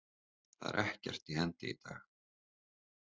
Það er ekkert í hendi í dag.